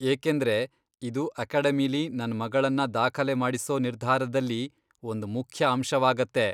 ಏಕೆಂದ್ರೆ ಇದು ಅಕೆಡಮಿಲೀ ನನ್ ಮಗಳನ್ನ ದಾಖಲೆ ಮಾಡಿಸೋ ನಿರ್ಧಾರದಲ್ಲಿ ಒಂದ್ ಮುಖ್ಯ ಅಂಶವಾಗತ್ತೆ.